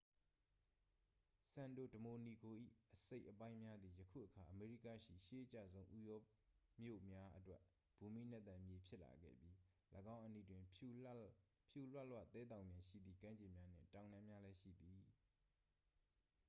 စန်တို ဒမိုနီဂို ၏ အစိတ်အပိုင်းများသည် ယခုအခါ အမေရိကရှိ ရှေးအကျဆုံးဥရောမြို့များအတွက် ဘူမိနက်သန်မြေ ဖြစ်လာခဲ့ပြီး ၎င်းအနီးတွင် ဖြူလွလွသဲသောင်ပြင်ရှိသည့် ကမ်းခြေများနှင့် တောင်တန်းများလည်း ရှိသည်